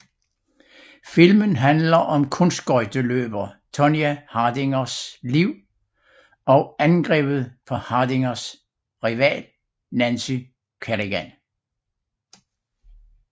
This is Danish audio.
Filmen handler om kunstskøjteløber Tonya Hardings liv og angrebet på Hardings rival Nancy Kerrigan